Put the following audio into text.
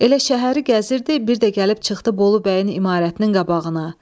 Elə şəhəri gəzirdi, bir də gəlib çıxdı Bolu bəyin imarətinin qabağına.